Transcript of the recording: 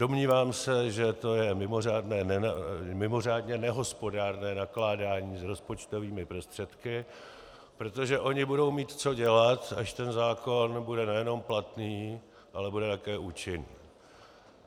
Domnívám se, že to je mimořádně nehospodárné nakládání s rozpočtovými prostředky, protože oni budou mít co dělat, až ten zákon bude nejenom platný, ale bude také účinný.